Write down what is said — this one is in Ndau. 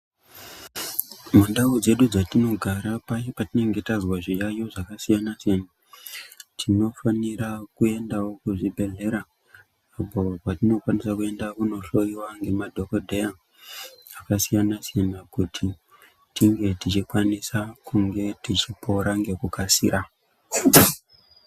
Mundau dzedu dzatinogara paye patinenge tazwa zviyayiyo zvakasiyana siyana tinofanira kuendawo kuzvibhedhlera uko kwetinokwanisa kuenda kuno hloiwa nemadhokodheya akasiyana siyana kuti tinge tichikwanisa kunge tichipora ngekukasira.